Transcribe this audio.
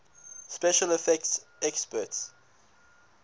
special effects experts